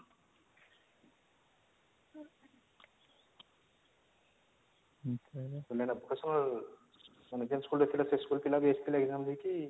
ତମର ଏଇଟା vocational ମାନେ ଯେନ school ରେ ଥିଲ ସେ school ର ପିଲା ବି ଆସିଥିଲେ exam ଦେଇକି